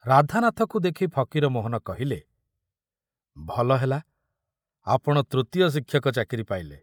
ରାଧାନାଥକୁ ଦେଖି ଫକୀରମୋହନ କହିଲେ, ଭଲ ହେଲା ଆପଣ ତୃତୀୟ ଶିକ୍ଷକ ଚାକିରି ପାଇଲେ।